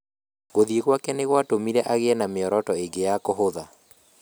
Gũthiĩ gwake nĩ gwatũmire agiĩ na mĩoroto ĩngĩ ya kũhũtha.